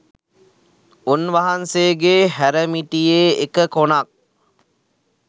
උන්වහන්සේගේ හැරමිටියේ එක කොනක්